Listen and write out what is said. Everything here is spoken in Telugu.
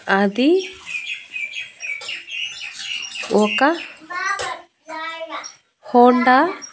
అది ఒక హోండా